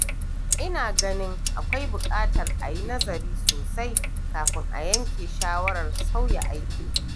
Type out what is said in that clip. Ina ganin akwai bukatar a yi nazari sosai kafin a yanke shawarar sauya aiki.